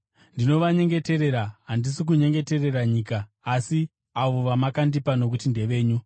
Ndinovanyengeterera. Handisi kunyengeterera nyika, asi avo vamakandipa nokuti ndevenyu.